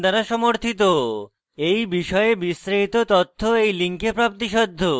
এই বিষয়ে বিস্তারিত তথ্য এই লিঙ্কে প্রাপ্তিসাধ্য